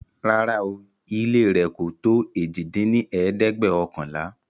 Rárá ooo, ilé rẹ̀ kò tó èjì dín ní ẹ̀ẹ́dẹ́gbẹ́ọ̀kànlá